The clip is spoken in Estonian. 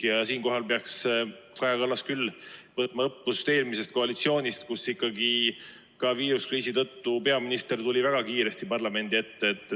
Ja siinkohal peaks Kaja Kallas küll võtma õppust eelmisest koalitsioonist, kus viiruskriisi tõttu tuli peaminister väga kiiresti parlamendi ette.